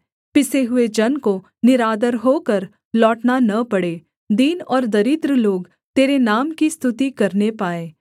पिसे हुए जन को निरादर होकर लौटना न पड़े दीन और दरिद्र लोग तेरे नाम की स्तुति करने पाएँ